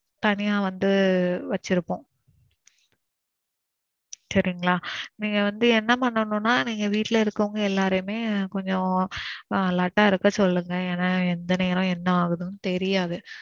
தனியா வந்து வச்சிருப்போம். சரிங்களா. நீங்க வந்து என்ன பாண்ணணும்னா நீங்க வீட்ல இருக்குறவங்க எல்லாரையுமே கொஞ்சம் alert ஆ இருக்க சொல்லுங்க. ஏன்னா எந்த நேரம் என்ன ஆகுதுன்னு தெரியாது.